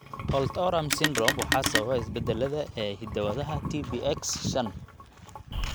Holt Oram syndrome waxaa sababa isbeddellada (isbeddellada) ee hidda-wadaha TBX shan .